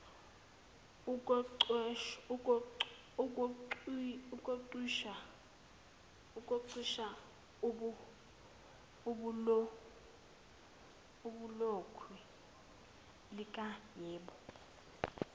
uqhwisha ibhulokwe likayebo